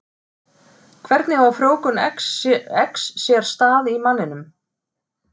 Hvernig á frjóvgun eggs sér stað í manninum?